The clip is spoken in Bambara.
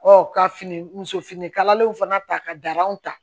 ka fini muso fini kalalenw fana ta ka dar'anw ta